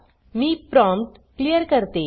मी prompt clear करते